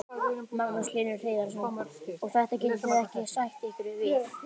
Magnús Hlynur Hreiðarsson: Og þetta getið þið ekki sætt ykkur við?